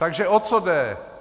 Takže o co jde?